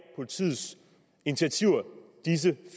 politiets initiativer disse